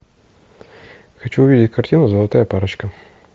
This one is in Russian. хочу увидеть картину золотая парочка